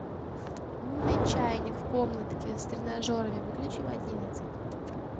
умный чайник в комнатке с тренажерами выключи в одиннадцать